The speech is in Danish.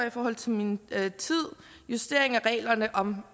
i forhold til min tid justering af reglerne om